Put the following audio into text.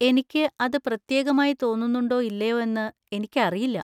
എനിക്ക് അത് പ്രത്യേകമായി തോന്നുന്നുണ്ടോ ഇല്ലയോ എന്ന് എനിക്കറിയില്ല.